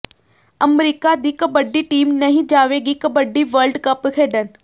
America ਦੀ kabaddi team ਨਹੀਂ ਜਾਵੇਗੀ ਕਬੱਡੀ ਵਰਲਡ ਕੱਪ ਖੇਡਣ